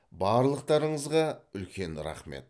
барлықтарыңызға үлкен рахмет